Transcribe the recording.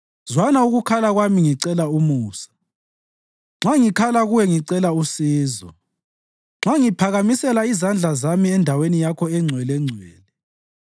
Zwana ukukhala kwami ngicela umusa, nxa ngikhala Kuwe ngicela usizo, nxa ngiphakamisela izandla zami eNdaweni Yakho eNgcwelengcwele.